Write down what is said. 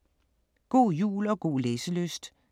God jul og god læselyst.